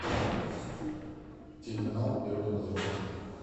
телеканал первый обозревательный